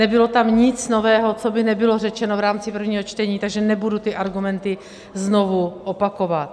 Nebylo tam nic nového, co by nebylo řečeno v rámci prvního čtení, takže nebudu ty argumenty znovu opakovat.